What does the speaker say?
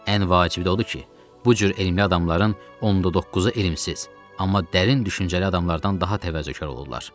Ən vacibi odur ki, bu cür elmli adamların onda doqquzu elmsiz, amma dərin düşüncəli adamlardan daha təvazökar olurlar.